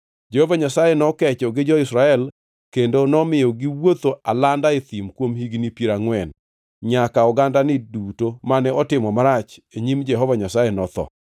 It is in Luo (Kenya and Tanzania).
Jehova Nyasaye nokecho gi jo-Israel kendo nomiyo giwuotho alanda e thim kuom higni piero angʼwen, nyaka ogandani duto mane otimo marach e nyim Jehova Nyasaye notho.